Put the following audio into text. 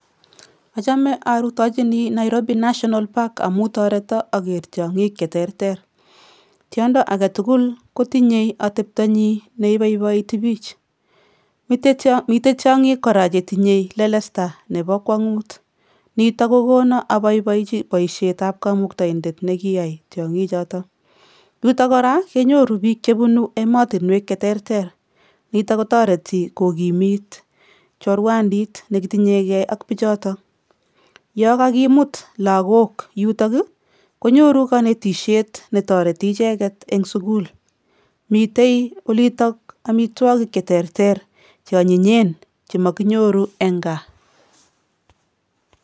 Achamei arutochini Nairobi national park amuu tareto ager tiong'ik cheterter. Tiondo agetugul kotinye atebto nyi neiboiboiti bich. Mitei tiong'gik kora chetinyei lelesta nebo kwangut. Nito kokono abaibaji boishetab kamuktaindet nekiyaai tiong'ikchoto. Yuto kora kenyoru biik chebunu emotinwek cheterter nito kotareti kogimit choruandit nekitinyegei ak bichoto. Ya kagimut lagook yutok konyoru kanetishet ne toreti icheket eng sukul. Mitei olitok amitwokik cheterter che anyinyen che makonyoru eng kaa.